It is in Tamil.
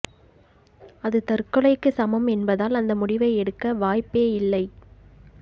அது தற்கொலைக்கு சமம் என்பதால் அந்த முடிவை எடுக்க வாய்ப்பே இல்லை